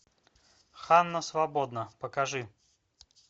ханна свободна покажи